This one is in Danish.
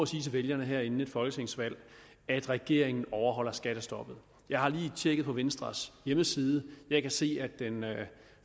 sige til vælgerne her inden et folketingsvalg at regeringen overholder skattestoppet jeg har lige tjekket venstres hjemmeside og jeg kan se at den